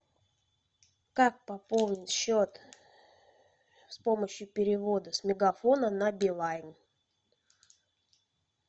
как пополнить счет с помощью перевода с мегафона на билайн